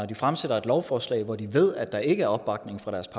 de fremsætter et lovforslag hvor de ved at der ikke er opbakning fra deres